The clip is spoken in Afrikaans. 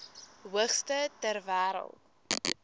hoogste ter wêreld